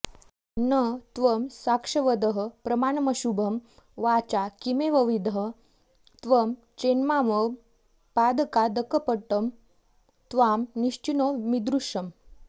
न त्वं साक्ष्यवदः प्रमाणमशुभं वाचा किमेवंविधः त्वं चेन्मामव पातकादकपटं त्वां निश्चिनोमीदृशम्